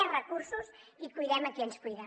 més recursos i cuidem a qui ens cuida